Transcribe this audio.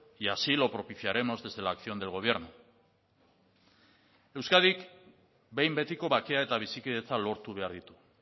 y así lo propiciaremos desde la acción del gobierno euskadik behin betiko bakea eta bizikidetza lortu behar ditu